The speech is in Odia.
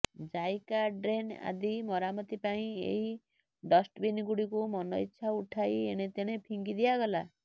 ଜାଇକା ଡ୍ରେନ୍ ଆଦି ମରାମତି ପାଇଁ ଏହି ଡଷ୍ଟବିନ୍ଗୁଡ଼ିକୁ ମନଇଚ୍ଛା ଉଠାଇ ଏଣେତେଣେ ଫିଙ୍ଗି ଦିଆଗଲା